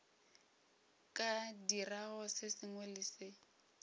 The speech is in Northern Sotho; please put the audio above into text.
ka dirago se sengwe le